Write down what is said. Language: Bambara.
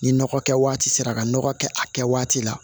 Ni nɔgɔ kɛ waati sera ka nɔgɔ kɛ a kɛ waati la